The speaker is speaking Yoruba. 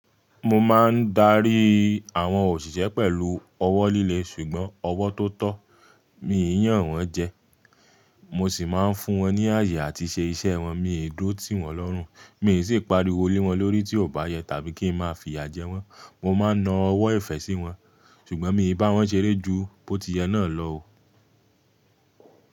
Mo maa n dari awon osise pelu owo lile sugbon owo to to. Mì í yàn wọ́n jẹ, mo sì máa ń fún wọn ní ààyè àti ṣe iṣẹ́ wọn, mi ì dó tìwọn lọ́rùn, mi sì ń pariwo lé wọn lórí tí ò bá yẹ tàbí kí n máa fìyà jẹ wọ́n. Mo máa ń na ọwọ́ ìfẹ́ sí wọn, ṣùgbọ́n mi bà wọ́n ṣeré ju pótí ẹ náà lọ o.